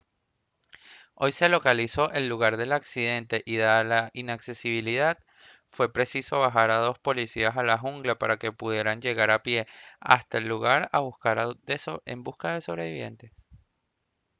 hoy se localizó el lugar del accidente y dada su inaccesibilidad fue preciso bajar a dos policías a la jungla para que pudieran llegar a pie hasta el lugar en busca de sobrevivientes